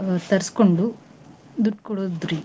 ಅ ತರ್ಸ್ಕೊಂಡು ದುಡ್ಡ್ ಕೊಡೋದ್ ರಿ.